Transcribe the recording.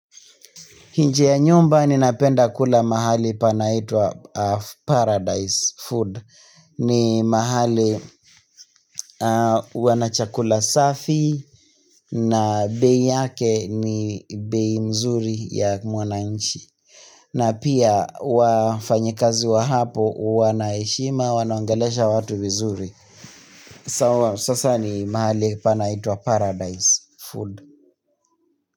Nje ya nyumba ninapenda kula mahali panaitwa Paradise food. Ni mahali wana chakula safi na bei yake ni bei mzuri ya mwananchi. Na pia wafanyikazi wa hapo wana heshima wanaongelesha watu vizuri. Sasa ni mahali panaitwa Paradise food.